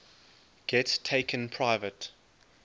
gets taken private